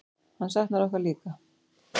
Hann saknar okkur líka.